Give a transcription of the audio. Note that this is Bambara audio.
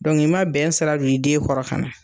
i ma bɛn sira don i den kɔrɔ ka na.